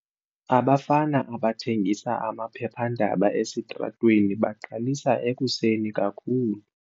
Abafana abathengisa amaphephandaba esitratweni baqalisa ekuseni kakhulu.